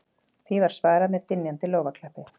Því var svarað með dynjandi lófaklappi